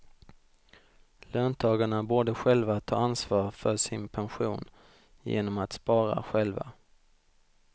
Löntagarna borde själva ta ansvar för sin pension genom att spara själva.